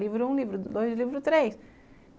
Livro um, livro dois, livro três.